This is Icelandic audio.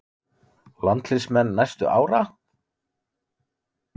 Landsliðsmenn næstu ára?